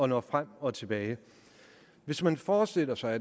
nå frem og tilbage hvis man forestiller sig